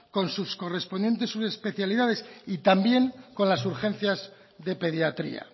con sus correspondientes subespecialidades y también con las urgencias de pediatría